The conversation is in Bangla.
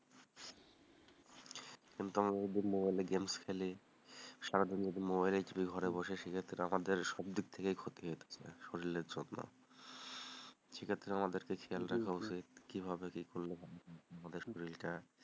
কিন্তু আমরা যদি মোবাইলে গেমস খেলি, সারাদিন যদি মোবাইলে খেলি ঘরে বসে, সেক্ষেত্তে আমাদের সবদিক থেকেই ক্ষতি এটা শরীরের জন্য সেক্ষেত্তে আমাদের খেলায় রাখতে হবে কিভাবে কি করলে আমাদের শরীরটা,